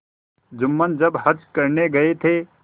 जुम्मन जब हज करने गये थे